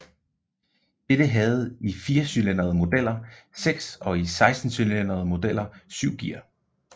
Dette havde i firecylindrede modeller seks og i sekscylindrede modeller syv gear